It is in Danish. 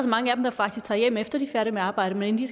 mange af dem der faktisk tager hjem efter de at arbejde men inden